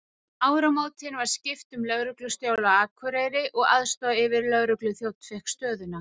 Um áramótin var skipt um lögreglustjóra á Akureyri og aðstoðaryfirlögregluþjónninn fékk stöðuna.